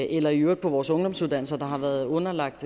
eller i øvrigt på vores ungdomsuddannelser der har været underlagt